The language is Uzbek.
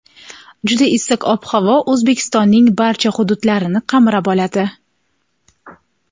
juda issiq ob-havo O‘zbekistonning barcha hududlarini qamrab oladi.